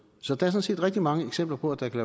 så der er sådan set rigtig mange eksempler på at der kan